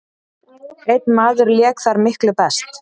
Einn maður lék þar miklu best.